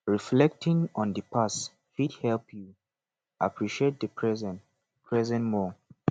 reflecting on di past fit help yu appreciate di present present more